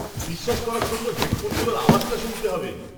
বিশ্বাস করার জন্য হেডফোনগুলোর আওয়াজটা শুনতে হবে।